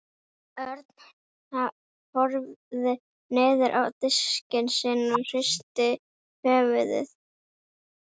Örn horfði niður á diskinn sinn og hristi höfuðið.